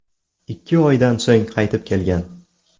Ikki oydan so‘ng qaytib kelgan.